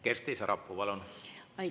Kersti Sarapuu, palun!